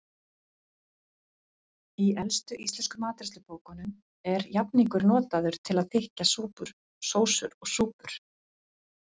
Í elstu íslensku matreiðslubókunum er jafningur notaður til að þykkja sósur og súpur.